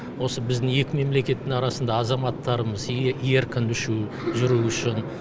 осы біздің екі мемлекеттің арасында азаматтарымыз еркін үшу жүру үшін